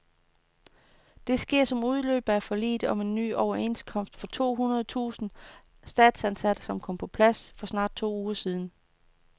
Det sker som udløber af forliget om en ny overenskomst for de to hundrede tusind statsansatte, som kom på plads for snart to uger siden.